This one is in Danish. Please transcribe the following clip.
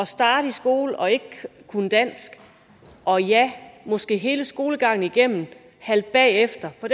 starte i skolen og ikke kunne dansk og ja måske derfor hele skolegangen igennem halte bagefter og